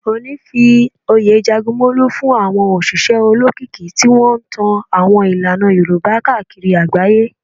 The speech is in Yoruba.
Ooni fi oyè Jagunmolu fún àwọn òṣìṣẹ́ olókìkí tí wọ́n ń tan àwọn ìlànà Yorùbá káàkiri agbaye.